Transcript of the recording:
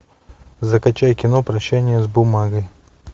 закачай кино прощание с бумагой